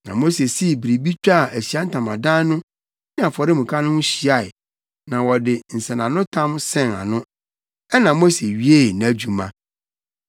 Na Mose sii biribi twaa Ahyiae Ntamadan no ne afɔremuka no ho hyiae na wɔde nsɛnanotam sɛn ano. Ɛnna Mose wiee nʼadwuma.